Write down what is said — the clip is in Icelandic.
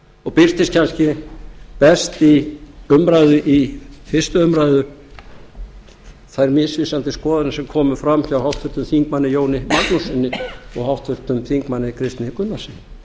og birtust kannski best í fyrstu umræðu þær misvísandi skoðanir sem komu fram hjá háttvirtum þingmanni jóni magnússyni og háttvirtur þingmaður kristni h gunnarssyni